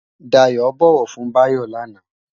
Dayo bòwò fun Bayo láná